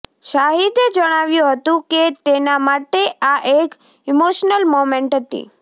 શાહિદે જણાવ્યું હતું કે તેના માટે આ એક ઈમોશનલ મોમેન્ટ હતી